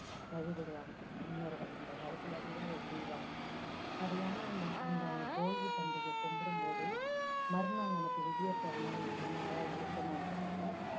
வழிபடுவாங்க. முன்னோர்கள் அந்த காலத்துல இருந்து அதை செய்வாங்க அது ஏன்னா அந்த அந்த போகி பண்டிகை கும்பிடும் போது மறுநாள் நமக்கு விடியப் போற நாள் நல்ல நாளா இருக்கணுன்றதால